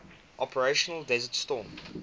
operation desert storm